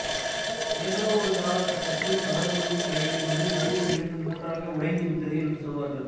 ஏதோ ஒருகாலகட்டத்தில் கடவுளின் கையிலிருந்து நழுவி விழுந்து மூன்றாக உடைந்துவிட்டது என்று சொல்வார்கள்